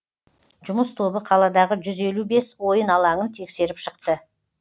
жұмыс тобы қаладағы жүз елу бес ойын алаңын тексеріп шықты